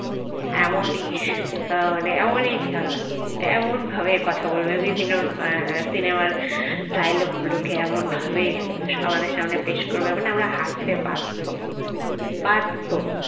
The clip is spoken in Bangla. এমনই মানে এমনই ছ্যাবলা এমন ভাবে কথা বলবে বিভিন্ন cinema dialogue গুলোকে এমন ভাবে মানে আমাদের সামনে পেশ করবে মানে আমরা হাসতে বাধ্য বাধ্য